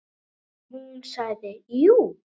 Og hún sagði jú.